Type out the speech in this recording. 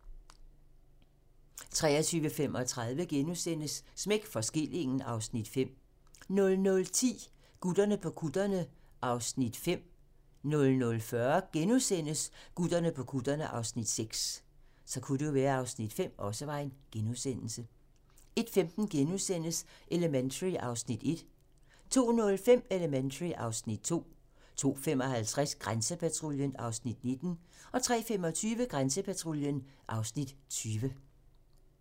23:35: Smæk for skillingen (Afs. 5)* 00:10: Gutterne på kutterne (Afs. 5)(tir) 00:40: Gutterne på kutterne (Afs. 6)*(tir) 01:15: Elementary (Afs. 1)* 02:05: Elementary (Afs. 2) 02:55: Grænsepatruljen (Afs. 19) 03:25: Grænsepatruljen (Afs. 20)